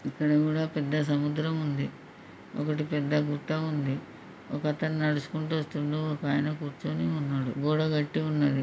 ఇక్కడ కూడా పెద్ద సముద్రం ఉంది ఒకటి పెద్ద గుట్ట ఉంది ఒక అతను నడుచుకుంటూ వస్తున్నాడు ఒకాయన కూర్చొని ఉన్నాడు. గోడ కట్టి ఉన్నది.